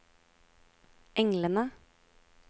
englene